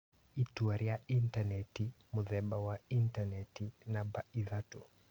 itua rĩa intanenti ( mũthemba wa intanenti) namba ithatũ.